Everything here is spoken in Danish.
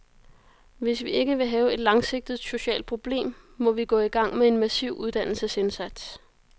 Hvis vi ikke vil have et langsigtet socialt problem, må vi gå i gang med en massiv uddannelsesindsats.